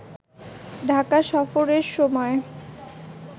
ঢাকা সফরের সময়